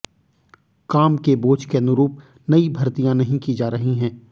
काम के बोझ के अनुरूप नई भर्तियां नहीं की जा रही हैं